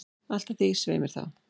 Allt að því, svei mér þá!